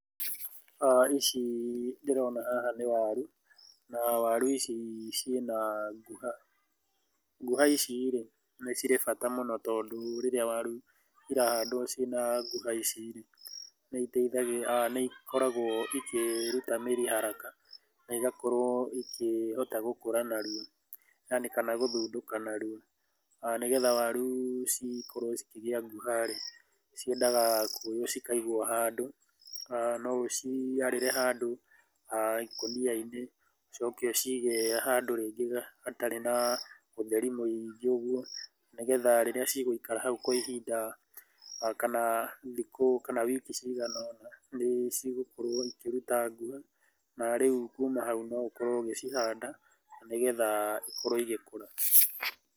Ici ndĩrona haha nĩ waru, na waru ici ciĩna nguha. Nguha ici rĩ nĩ cirĩ bata mũno, tondũ rĩrĩa waru irahandwo ciĩna nguha ici rĩ, nĩ ikoragwo ikĩruta mĩri haraka na igakorwo ikĩhota gũkũra narua haraka kana gũthundũka narua. Nĩgetha waru cikorwo cikĩgĩa nguha rĩ, ciendaga kuoywo cikaigwo handũ. No ũciarĩre handũ ikũnia-inĩ ũcoke ũcige handũ rĩngĩ hatarĩ na ũtheri mũingĩ ũguo, nĩgetha rĩrĩa cigũikara hau kwa ihinda kana thikũ kana wiki cigana ũna nĩ cigũkorwo cikĩruta nguha, na rĩu kuuma hau no ũkorwo ũgĩcihanda, na nĩgetha ikorwo igĩkũra.